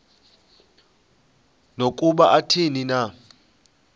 nokuba athini na